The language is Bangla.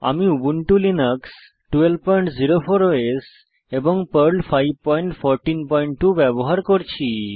আমি উবুন্টু লিনাক্স 1204 ওএস এবং পার্ল 5142 ব্যবহার করছি